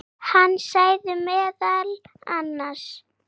Það er safn í dag.